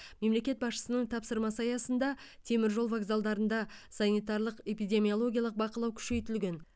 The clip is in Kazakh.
мемлекет басшысының тапсырмасы аясында теміржол вокзалдарында санитарлық эпидемиологиялық бақылау күшейтілген